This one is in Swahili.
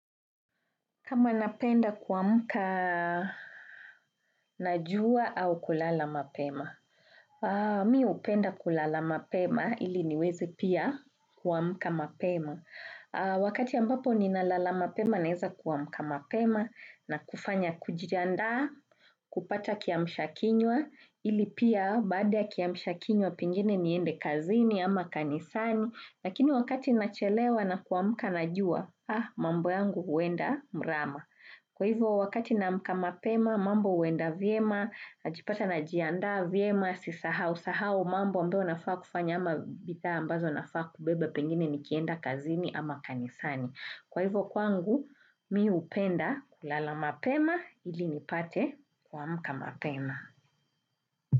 Kama napenda kuamka, na jua au kulala mapema. Mi hupenda kulala mapema ili niwezi pia kuamka mapema. Wakati ambapo ninalala mapema, naeza kuamka mapema na kufanya kujiandaa, kupata kiamsha kinywa, ili pia baada ya kiamsha kinywa pingine niende kazini ama kanisani, lakini wakati nachelewa na kuamka najua, ah, mambo yangu huenda mrama. Kwa hivyo wakati naamka mapema mambo huenda vyema, najipata najianda vyema, sisahau, sahau mambo ambayo nafaa kufanya ama bidhaa ambazo nafaa kubeba pengine nikienda kazini ama kanisani. Kwa hivyo kwangu mi hupenda kulala mapema ili nipate kuamka mapema.